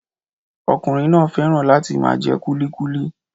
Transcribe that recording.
Ọkùnrin náà fẹ́ràn láti máa jẹ kulikuki